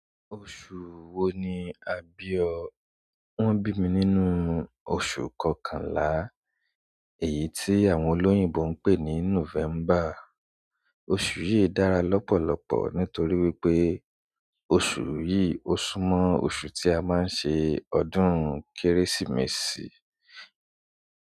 Oṣù wo ni àbí o? Wọ́n bi mi ni nu oṣù kokonla, èyí tí àwọn olóyìnbó pè ni November. Oṣù yìí dára lọ́pọ̀lọpọ̀ nítorí wípé oṣù yìí ó súmọ́ oṣù tí a máa ń ṣe ọdún Kérésìmesì.